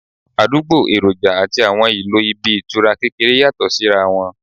Àdúgbò, èròjà àti àwọn ìlò ibi ìtura kékeré yàtọ̀ sí ra wọn